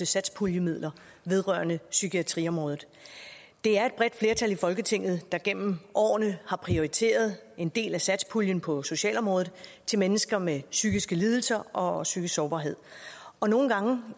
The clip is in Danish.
satspuljemidler vedrørende psykiatriområdet det er et bredt flertal i folketinget der gennem årene har prioriteret en del af satspuljen på socialområdet til mennesker med psykiske lidelser og psykisk sårbarhed og nogle gange